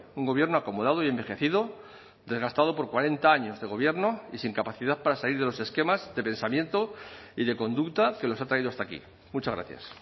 un gobierno acomodado y envejecido desgastado por cuarenta años de gobierno y sin capacidad para salir de los esquemas de pensamiento y de conducta que los ha traído hasta aquí muchas gracias